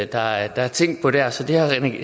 der er tænkt på der så det har